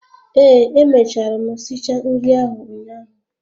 Ee, emechara m si cha nri ahụ ụnyaahụ